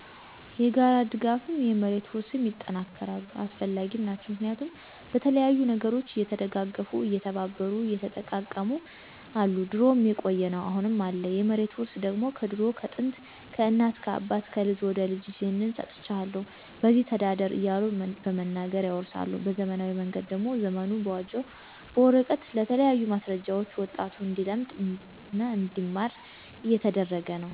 የጋራ ድጋፍም፣ የመሬት ውርስም ይጠናከራሉ አሰፈላጊም ናቸው። ምክንያቱም በተለያዩ ነገሮች እየተደጋገፉ፣ እየተባበሩ፣ እየተጠቃቀሙ አሉ ድሮም የቆየ ነው አሁንም አለ። የመሬት ውርስ ደግሞ ከድሮ ከጥንት፣ ከእናት ከአባት፣ ከልጅ ወደ ልጅ ይህን ሰጥቸሀለሁ በዚች ተዳደር እያሉ በመናገር ያወርሳሉ። በዘመናዊ መንገድ ደግሞ ዘመኑ በዋጀው በወረቀት በተለያዩ ማሰረጃዎች ወጣቱ እንዲለምድ እና እንዲማር እየተደረገ ነው።